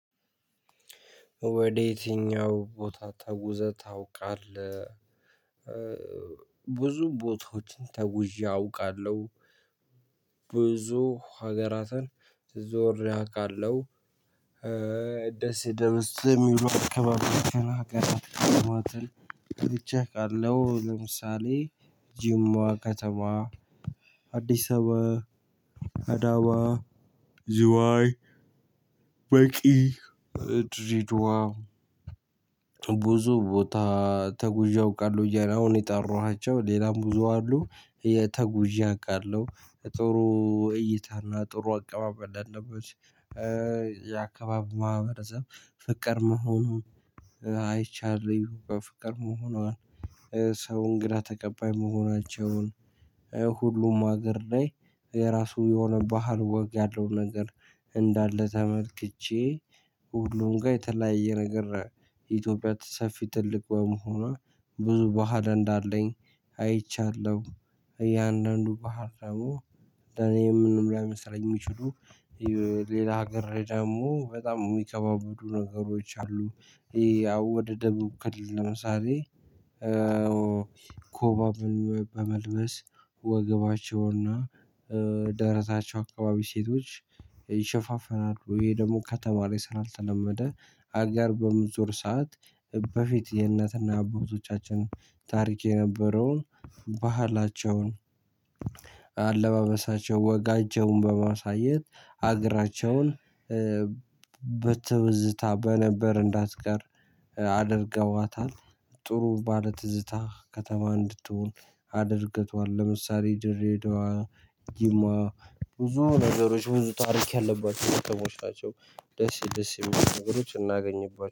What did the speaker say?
ወደ የትኛው ቦታ ታጉዘህ ታውቃለህ? ብዙ ቦታዎችን ተጉዤ አውቃለሁ። ብዙ ሀገራትን ዞር አውቃለሁ። ደስ ደስ የሚሉ አክባብ አክባብ አክባብ አክባብ ተቸካለሁ። ለምሳሌ ጅማ ከተማ። አዲስ አበባ አዳማ ዝዋይ መቂ ደሬዳዋ። ብዙ ቦታ ተጉዤ አውቃለሁ አሁን የጠራኋቸው ሌላም ብዙ አሉ የተጉዤ አውቃለሁ። ጥሩ እይታና ጥሩ አቀማመጥ ያለበት የአካባቢ ማህበረሰብ ፍቅር መሆኑን አይቻለሁ። ፍቅር መሆኗን ሰው እንግዳ ተቀባይ መሆናቸውን። ሁሉም አገር ላይ የራሱ የሆነ ባህል ወግ ያለው ነገር እንዳለ ተመልክቼ። ሁሉም ጋር የተለያየ ነገር የኢትዮጵያ ሰፊ ትልቅ በመሆኑዋ ብዙ በህል እንዳለኝ አይቻለሁ። እያንዳንዱ ባህል ደግሞ ለኔ ምንም ላይመስለኝ የሚችሉ። ሌላ ሀገር ደግሞ በጣም የሚከባበዱ ነገሮች አሉ። ያው ወደ ደቡብ ክልል ለምሳሌ ኮባ በመልበስ ወገባቸውና ደረታቸው አካባቢ ሴቶች ይሸፋፈናሉ። ይሄ ደግሞ ከተማ ላይ ስለልተለመደ አጋር በምዞር ሰዓት በፊት የእነትና አባቶቻችን ታሪክ የነበረውን ባህላቸውን። አለባበሳቸው ወጋጃውን በማሳየት ሀገራቸውን በትዝታ በነበር እንዳትቀር አድርገዋታል። ጥሩ ባለ ትዝታ ከተማ እንድትሆን አድርገቷል። ለምሳሌ ድሬዳዋ ጅማ ብዙ ነገሮች ብዙ ታሪክ ያለባቸው ከተሞች ናቸው። ደስ ደስ የሚሉ ነገሮች እናገኝባቸዋለን